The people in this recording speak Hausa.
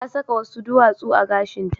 Ta saka wasu duwatsu a gashinta.